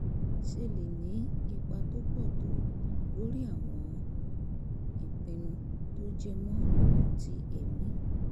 ṣe lè ní ipa tó pọ̀ tó lórí àwọn ìpinnu tó jẹ mọ́ oun ti ẹ̀mí